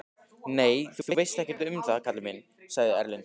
Nei, þú veist ekkert um það kallinn minn, sagði Erlendur.